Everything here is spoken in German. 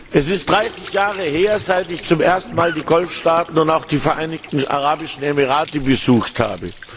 Es ist 30 Jahre her, dass ich zum ersten Mal die Golfstaaten und auch die Vereinigten Arabischen Emirate besucht habe.